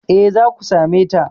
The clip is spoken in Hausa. Eh, zaku same ta